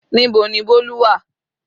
Níbo ni Bolu wà?